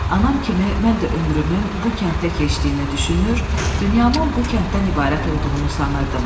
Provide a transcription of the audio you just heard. Anam kimi mən də ömrümün bu kənddə keçdiyini düşünür, dünyamın bu kənddən ibarət olduğunu sanırdım.